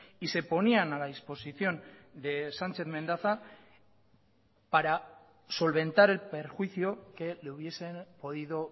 y se ponían a la disposición de sánchez mendaza para solventar el perjuicio que le hubiesen podido